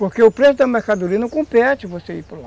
Porque o preço da mercadoria não compete você ir para lá.